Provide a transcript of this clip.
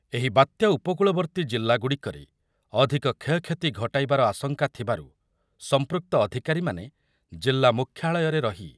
ଏହି ବାତ୍ୟା ଉପକୂଳବର୍ତ୍ତୀ ଜିଲ୍ଲାଗୁଡ଼ିକରେ ଅଧିକ କ୍ଷୟକ୍ଷତି ଘଟାଇବାର ଆଶଙ୍କା ଥିବାରୁ ସମ୍ପୃକ୍ତ ଅଧିକାରୀମାନେ ଜିଲ୍ଲା ମୁଖ୍ୟାଳୟରେ ରହି